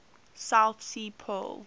south sea pearl